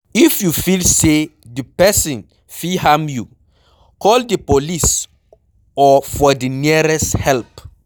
If you feel say di perosn fit harm you, call di police or for the nearest help